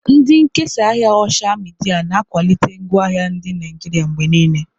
Ndị nkesa ahịa osha midia na-akwalite ngwaahịa ndị Naijiria mgbe niile.